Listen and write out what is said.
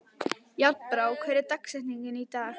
Járnbrá, hver er dagsetningin í dag?